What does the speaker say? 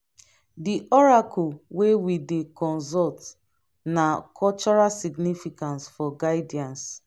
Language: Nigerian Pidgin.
di oracle wey we dey consult na cultural significance for guidance